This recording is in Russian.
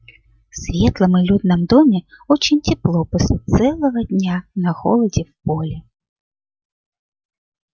в светлом и людном доме очень тепло после целого дня на холоде в поле